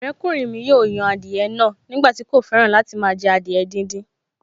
Ọ̀rẹ́kùnrin mi yóò yan adìẹ náà nígbà tí kò fẹ́ràn láti jẹ adìẹ díndín